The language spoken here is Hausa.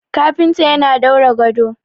kafinta yana daura gado